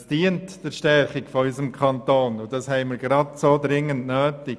Dies dient der Stärkung unseres Kantons und diese haben wir dringend nötig.